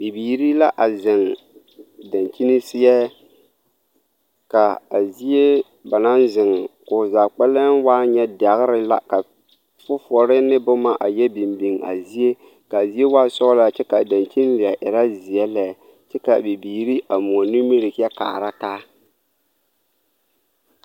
Bibiiri la a zeŋ dankyini seɛ ka a zie ba naŋ zeŋ k,o zaa kpɛlɛŋ waa nyɛ dɛgre la ka fofowoɔ ne boma a yɛ biŋ biŋ a zie k,a zie waa sɔglaa kyɛ k,a dankyini leɛ erɛ zeɛ lɛ kyɛ k,a bibiiri a moɔ nimiri kyɛ kaara taa.